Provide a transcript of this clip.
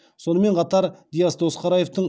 сонымен қатар диас досқараевтың